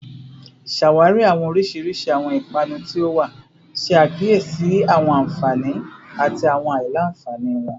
Ṣawari awọn oriṣiriṣi awọn ipanu ti o wa, ṣe akiyesi awọn anfani ati awọn alailanfani wọn